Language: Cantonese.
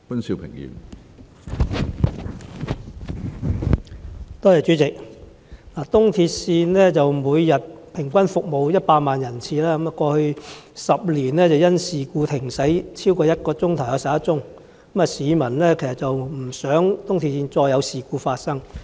主席，東鐵線每天平均服務100萬人次，過去10年因事故停駛超過1小時的有11宗，市民不希望東鐵線再次發生事故。